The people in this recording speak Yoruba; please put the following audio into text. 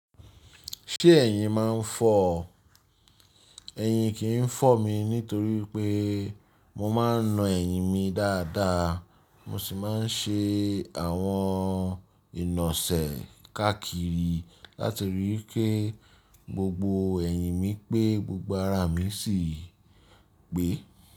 Ṣé ẹ̀yin máa ń fọ́? Ẹ̀yin kì í fọ́ mi nítorí pé mo máa ń na ẹ̀yin mi dáadáa, mo sì máa ń ṣe àwọn ìnosẹ̀ káàkiri láti rí i pé gbogbo ẹ̀yin mi pé gbogbo ara mi sì gbé.